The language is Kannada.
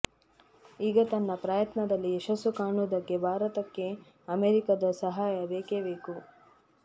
ಈಗ ತನ್ನ ಪ್ರಯತ್ನದಲ್ಲಿ ಯಶಸ್ಸು ಕಾಣುವುದಕ್ಕೆ ಭಾರತಕ್ಕೆ ಅಮೆರಿಕದ ಸಹಾಯ ಬೇಕೇ ಬೇಕು